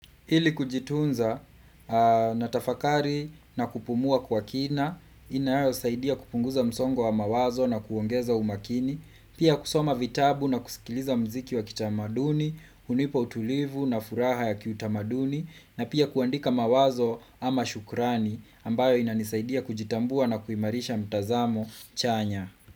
Ili kujitunza natafakari na kupumua kwa kina, inayosaidia kupunguza msongo wa mawazo na kuongeza umakini, pia kusoma vitabu na kusikiliza muziki wa kitamaduni, hunipo utulivu na furaha ya kitamaduni, na pia kuandika mawazo ama shukrani ambayo inanisaidia kujitambua na kuimarisha mtazamo chanya.